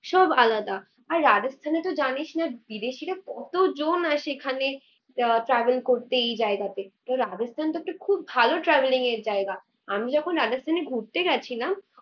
সব আলাদা। ভাই রাজস্থানে তো জানিসনা বিদেশীরা কতজন আসে সেখানে আহ travel করতে এই জায়গাতে। তো রাজস্থানতো একটা খুব ভালো travelling এর জায়গা, আমি যখন রাজস্থানে ঘুরতে যাচ্ছিলাম